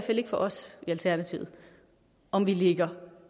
ikke for os i alternativet om vi ligger